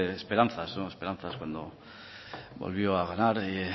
esperanzas esperanzas cuando volvió a ganar